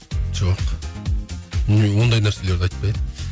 жоқ ондай нәрселерді айтпаймын